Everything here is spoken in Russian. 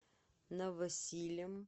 новосилем